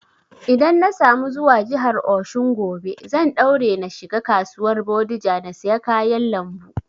Idan na samu zuwa jihar Osun gobe, zan daure na shiga kasuwar bodija na siya kayan lambu